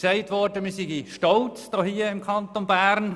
Es wurde gesagt, wir wären stolz im Kanton Bern.